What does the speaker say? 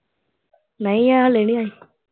ਨੀ ਹਾਲੇ ਨਹੀ ਆਈ।